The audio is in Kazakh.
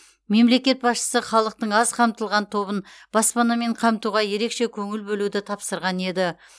мемлекет басшысы халықтың аз қамтылған тобын баспанамен қамтуға ерекше көңіл бөлуді тапсырған еді